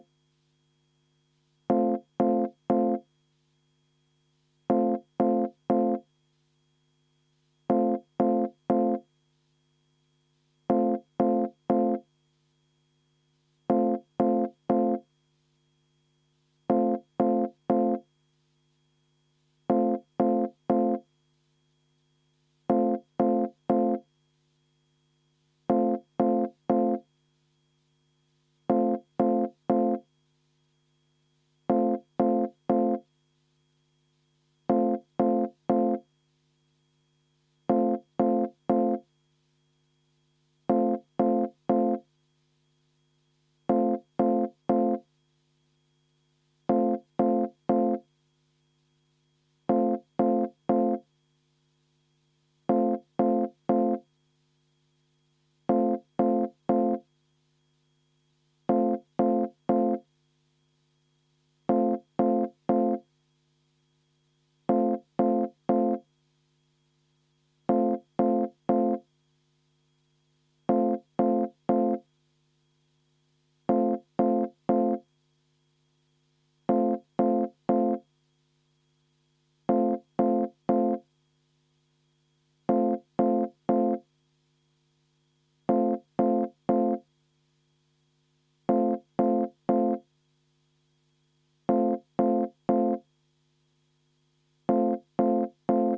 V a h e a e g